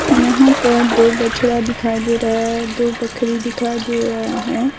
यहां पर दो बछड़ा दिखाई दे रहा है दो बकरी दिखाई दे रहा है।